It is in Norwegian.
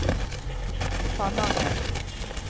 Tananger